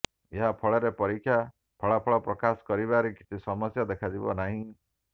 ଏହା ଫଳରେ ପରୀକ୍ଷା ଫଳାଫଳ ପ୍ରକାଶ କରିବାରେ କିଛି ସମସ୍ୟା ଦେଖାଯିବ ନାହିଁ